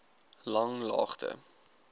langlaagte